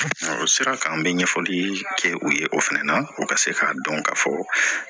O sira kan an bɛ ɲɛfɔli kɛ u ye o fɛnɛ na u ka se k'a dɔn ka fɔ